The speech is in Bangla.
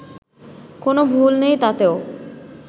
কোনও ভুল নেই তাতেও